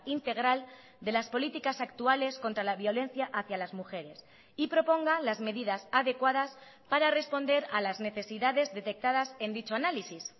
integral de las políticas actuales contra la violencia hacia las mujeres y proponga las medidas adecuadas para responder a las necesidades detectadas en dicho análisis